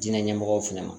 Diinɛ ɲɛmɔgɔw fana ma